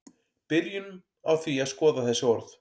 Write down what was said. byrjum á því að skoða þessi orð